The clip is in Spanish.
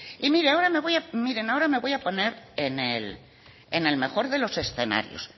y miren ahora me voy a poner en el mejor de los escenarios